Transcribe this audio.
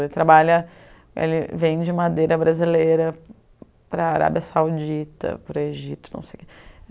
Ele trabalha... Ele vende madeira brasileira para a Arábia Saudita, para o Egito, não sei